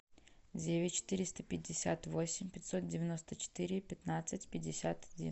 девять четыреста пятьдесят восемь пятьсот девяносто четыре пятнадцать пятьдесят один